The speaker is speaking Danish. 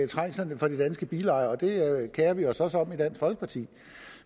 trængslerne for de danske bilejere det kerer vi os også om i dansk folkeparti